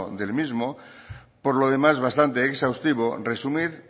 del mismo por lo demás bastante exhaustivo resumir